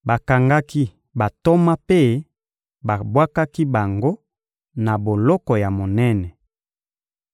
Bakangaki bantoma mpe babwakaki bango na boloko ya monene.